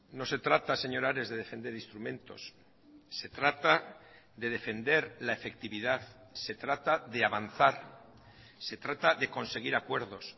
no se trata señor ares de defender instrumentos se trata de defender la efectividad se trata de avanzar se trata de conseguir acuerdos